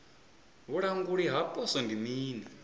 vhulanguli ha poswo ndi mini